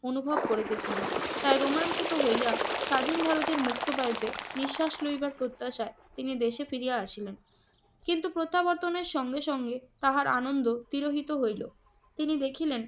অনুভব করিতেছিলেন। তাই রোমাঞ্চিত হইয়া স্বাধীন ভারতের মুক্তি পেতে নিঃশ্বাস লইবার প্রত্যাশা তিনি দেশে ফিরে আসিলেন। কিন্তু প্রত্যাবর্তনের সঙ্গে সঙ্গে তাহার আনন্দ তিরোহিত হইল। তিনি দেখিলেন,